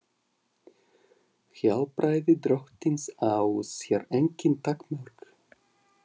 Hjálpræði drottins á sér engin takmörk.